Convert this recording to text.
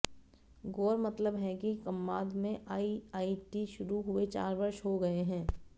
गौरतलब है कि कमांद में आईआईटी शुरू हुए चार वर्ष हो गए हैं